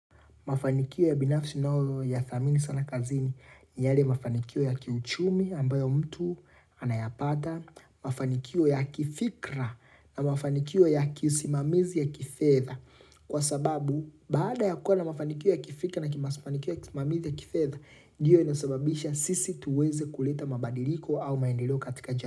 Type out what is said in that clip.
Mafanikio ya binafsi nao ya thamini sana kazini, ni yale mafanikio ya kiuchumi ambayo mtu anayapata, mafanikio ya kifikra na mafanikio ya kisimamizi ya kifedha. Kwa sababu, baada ya kuwa na mafanikio ya kifika na kimasimamizi ya kifedha, ndiyo inasababisha sisi tuweze kuleta mabadiliko au maendeleo katika jamii.